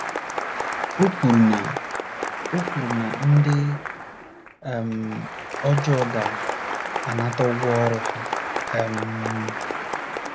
O kwuru na O kwuru na ndị um ọjọọ ga - anata ụgwọ ọrụ ha um.